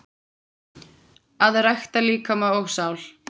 Að rækta líkama og sál.